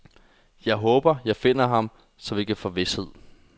Jeg håber, jeg finder ham, så jeg kan få vished.